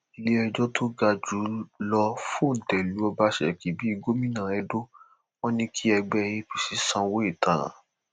iléẹjọ tó ga jù lọ fọńté lu ọbaṣẹkí bíi gómìnà edo wọn ni kí ẹgbẹ apc sanwó ìtanràn